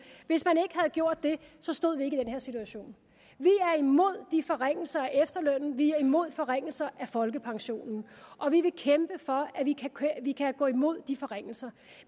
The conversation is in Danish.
så stod vi ikke i den her situation vi er imod de forringelser af efterlønnen vi er imod forringelser af folkepensionen og vi vil kæmpe for at vi kan gå imod de forringelser